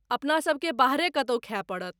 अपना सबकेँ बाहरे कतहु खाय पड़त।